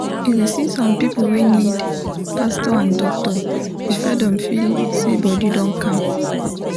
you go see some people wey need pastor and doctor before dem feel say body don calm.